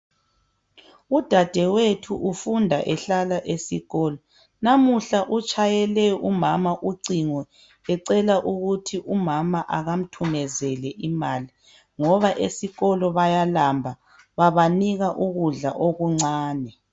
Udadewethu ufunda ehlala esikolo. Namuhla utshayele umama ucingo ecela ukuthi umama akamthumezele imali, ngoba esikolo bayalamba babanika ukudla okuncane.